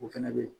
O fɛnɛ be yen